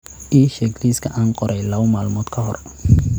ii sheeg liiska aan qoray laba maalmood ka hor